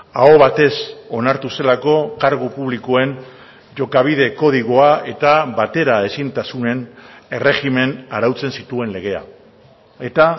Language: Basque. aho batez onartu zelako kargu publikoen jokabide kodigoa eta bateraezintasunen erregimena arautzen zituen legea eta